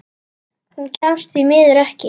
Hún kemst því miður ekki.